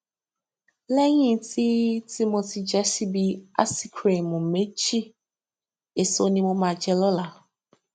léyìn tí tí mo ti jẹ ṣíbí áísikirimù méjì èso ni màá jẹ lóla